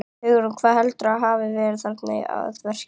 Hugrún: Hver heldurðu að hafi verið þarna að verki?